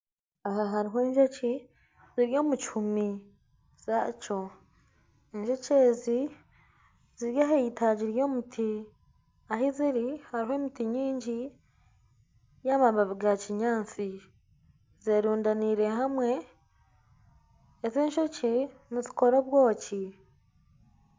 Aha hariho enjoki ziri omu kihumi kyazo , enjoki ezi ziri aha itaagi ry'omuti ahi ziri hariho emiti mingi y'amababi ga kinyaantsi zerundaneire hamwe. Ezi enjoki nizikora obwoki .